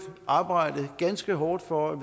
arbejdet ganske hårdt for at